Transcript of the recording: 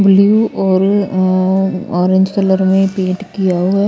blue और uh orange colour में paint किया हुआ--